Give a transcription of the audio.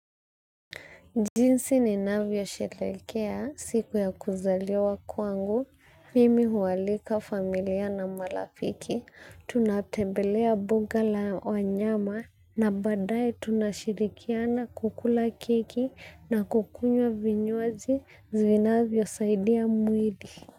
Jinsi ni navyo sherehekea siku ya kuzaliwa kwangu, mimi hualika familia na marafiki, tunatembelea mbuga la wanyama, na baadaye tunashirikiana kukula keki na kukunywa vinywaji zinavyo saidia mwili.